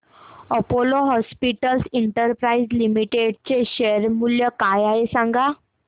Apollo hospitals enterprise limited चे share मूल्य काय आहे सांगा